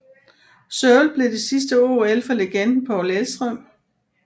Seoul blev det sidste OL for legenden Paul Elvstrøm